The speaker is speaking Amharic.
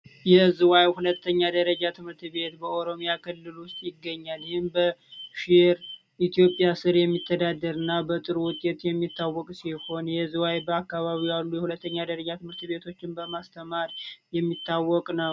የዝዋይ ሁለተኛ ደረጃ ትምህርት ቤት በኦሮሚያ ክልል ውስጥ ይገኛል ኢትዮጵያ የሚተዳደርና በጥሩ ውጤት የሚታወቅ የሆነ የዝውውር አካባቢ ያሉ የሁለተኛ ደረጃ ትምህርት ቤቶችን በማስተማር የሚታወቅነው